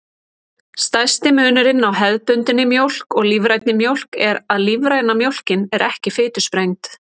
Stærsti munurinn á hefðbundinni mjólk og lífrænni mjólk er að lífræna mjólkin er ekki fitusprengd.